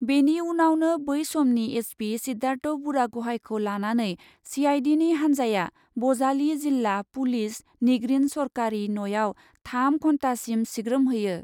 बेनि उनावनो बै समनि एसपि सिद्धार्थ बुरागहाइखौ लानानै सिआइडिनि हान्जाया बजालि जिल्ला पुलिस निगरिन सरकारि न'याव थाम घन्टासिम सिग्रोमहैयो ।